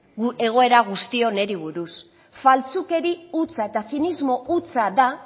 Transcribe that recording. egoera guzti honi buruz faltsukeri hutsa eta zinismo hutsa da